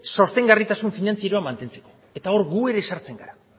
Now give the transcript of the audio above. sostengarritasun finantzieroa mantentzeko eta hor gu ere sartzen gara